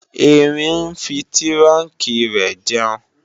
Erin ń fi tírùnkí rẹ̀ jẹun